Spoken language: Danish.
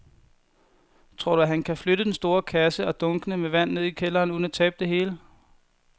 Tror du, at han kan flytte den store kasse og dunkene med vand ned i kælderen uden at tabe det hele?